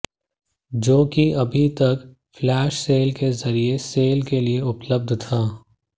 जो कि अभी तक फ्लैश सेल के जरिए सेल के लिए उपलब्ध था